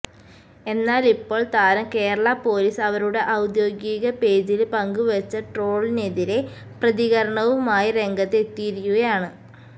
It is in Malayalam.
എന്നാൽ ഇപ്പോൾ താരം കേരള പൊലീസ് അവരുടെ ഔദ്യോഗിക പേജില് പങ്കുവച്ച ട്രോളിനെതിരെ പ്രതികരണവുമായി രംഗത്ത് എത്തിയിരിക്കുകയാണ്